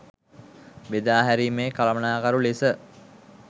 බෙදාහැරීමේ කළමනාකරු ලෙස